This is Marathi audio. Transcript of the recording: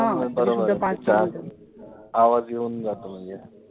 हा बरोबर आहे, आवाज येऊन जातो म्हणजे